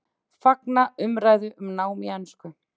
Fagna umræðu um nám á ensku